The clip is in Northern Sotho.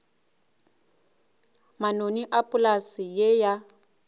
manoni a polase ye ya